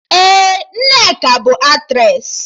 Ee, Nneka bụ Aktressị